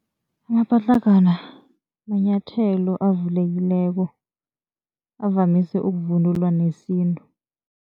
Amapatlagwana manyathelo avulekileko. Avamise ukuvunula wesintu.